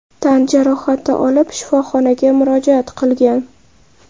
tan jarohati olib shifoxonaga murojaat qilgan.